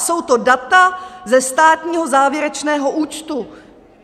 Jsou to data ze státního závěrečného účtu.